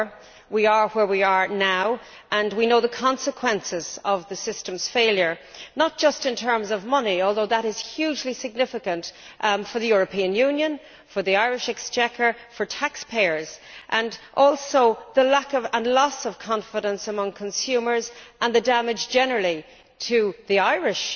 However, we are where we are now, and we know the consequences of the system's failure, in terms not just of money although that is hugely significant for the European Union, for the Irish Exchequer, for taxpayers but of the loss of confidence among consumers, and the damage done generally to the Irish